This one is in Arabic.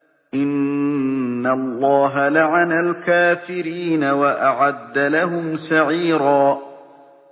إِنَّ اللَّهَ لَعَنَ الْكَافِرِينَ وَأَعَدَّ لَهُمْ سَعِيرًا